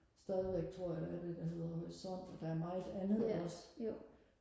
stadigvæk tror jeg der er det der hedder horisont og der er meget andet også